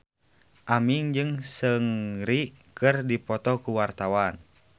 Aming jeung Seungri keur dipoto ku wartawan